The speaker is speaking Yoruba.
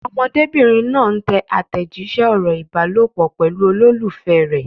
Ọmọdébìnrin náà ń tẹ àtẹ̀jíṣẹ́ ọ̀rọ̀ ìbálòpọ̀ pẹ̀lú olólùfẹ́ rẹ̀.